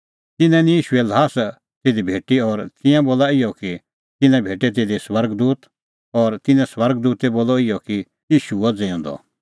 तिन्नां निं ईशूए ल्हास तिधी भेटी और तिंयां बोला इहअ कि तिन्नां भेटै तिधी स्वर्ग दूत और तिन्नैं स्वर्ग दूतै बोलअ इहअ कि ईशू हुअ ज़िऊंदअ